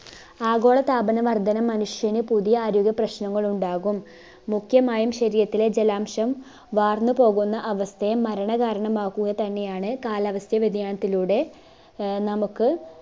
ആഗോളതാപന വർധന മനുഷ്യന് പുതിയ ആരോഗ്യ പ്രശ്നങ്ങൾ ഉണ്ടാകും മുഖ്യമായും ശരീരത്തിലെ ജലാംശം വാർന്നു പോകുന്ന അവസ്ഥയെ മരണ കാരണമാക്കുക തന്നെ ആണ് കാലാവസ്ഥ വ്യതിയാനത്തിലൂടെ ആഹ് നമുക്ക്